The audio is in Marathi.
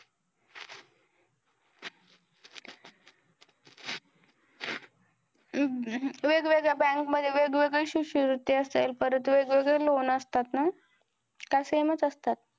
अह वेगवेगळ्या bank मध्ये वेगवेगळे शिष्यवृत्ती असेल, परत वेगवेगळे loan असतात ना? का same चं असतात.